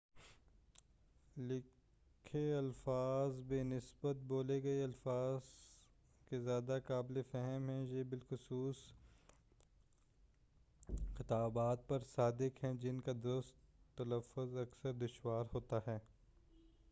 لکھے الفاظ بہ نسبت بولے گئے الفاظ کے زیادہ قابلِ فہم ہیں یہ بالخصوص خطابات پر صادق ہے جن کا درست تلفظ اکثر دشوار ہوتا ہے